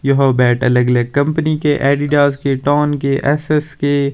यह बेट अलग-अलग कम्पनी के एडीडास के टोन के एस_एस के --